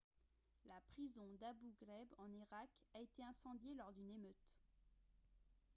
la prison d'abu ghraib en irak a été incendiée lors d'une émeute